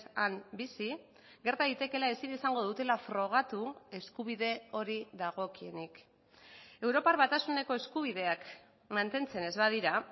han bizi gerta daitekeela ezin izango dutela frogatu eskubide hori dagokienik europar batasuneko eskubideak mantentzen ez badira